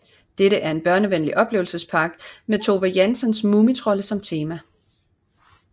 Dette er en børnevenlig oplevelsespark med Tove Janssons mumitrolde som tema